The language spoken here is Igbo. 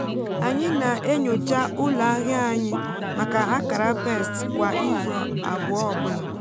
anyị na-enyocha ụlọ ahịa anyị maka akara pest kwa izu abụọ ọ bụla.